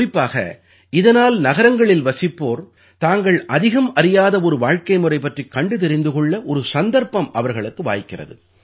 குறிப்பாக இதனால் நகரங்களில் வசிப்போர் தாங்கள் அதிகம் அறியாத ஒரு வாழ்க்கைமுறை பற்றிக் கண்டு தெரிந்து கொள்ள ஒரு சந்தர்ப்பம் அவர்களுக்கு வாய்க்கிறது